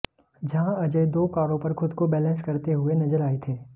जहाँ अजय दो कारों पर खुद को बैलेंस करते हुए नज़र आए थे